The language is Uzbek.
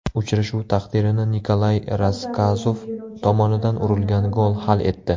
Uchrashuv taqdirini Nikolay Rasskazov tomonidan urilgan gol hal etdi.